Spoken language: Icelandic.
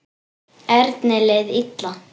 Erni leið illa.